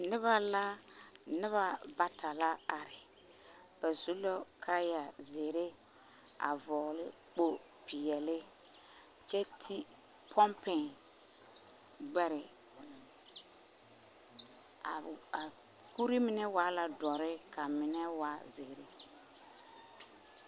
Noba la… noba bata la are Ba su la kaaya zeere a vɔgele kpopeɛle kyɛ ti pɔmpe gbɛre, a a kuri mine waa la dɔre ka mine waa zeere.